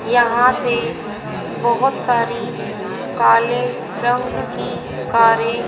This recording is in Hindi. यहां से बहुत सारी काले रंग की कारें --